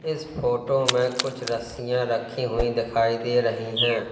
इस फोटो में कुछ रस्सियां रखी हुई दिखाई दे रही हैं।